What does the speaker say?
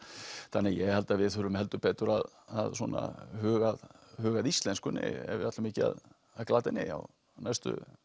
þannig að ég held að við þurfum heldur betur að svona huga að huga að íslenskunni ef við ætlum ekki að glata henni já á næstu